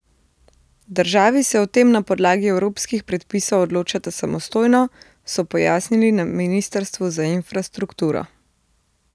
Državi se o tem na podlagi evropskih predpisov odločata samostojno, so pojasnili na ministrstvu za infrastrukturo.